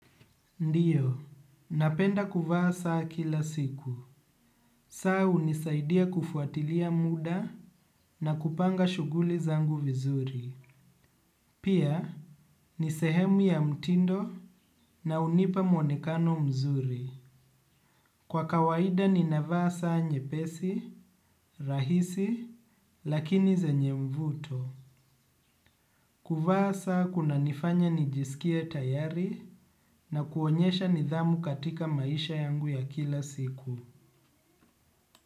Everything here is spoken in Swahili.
Ndio, napenda kuvaa saa kila siku. Saa hunisaidia kufuatilia muda na kupanga shughuli zangu vizuri. Pia, ni sehemu ya mtindo na hunipa mwonekano mzuri. Kwa kawaida, ninavaa saa nyepesi, rahisi, lakini zenye mvuto. Kuvaa saa kunanifanya nijisikie tayari na kuonyesha nidhamu katika maisha yangu ya kila siku.